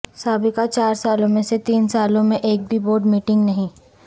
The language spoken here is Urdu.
سابقہ چار سالوں میں سے تین سالوں میں ایک بھی بورڈ میٹنگ نہیں